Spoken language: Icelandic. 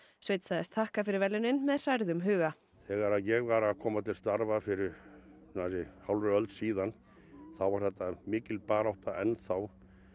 sveinn sagðist þakka fyrir verðlaunin með hrærðum huga þegar ég var að koma til starfa fyrir nærri hálfri öld síðan þá var þetta mikil barátta enn þá